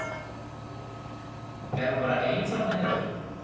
Er hún bara ein þarna hjá þér?